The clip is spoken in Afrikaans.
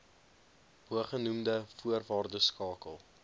bogenoemde voorwaardes skakel